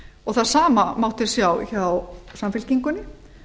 og það sama mátti sjá hjá samfylkingunni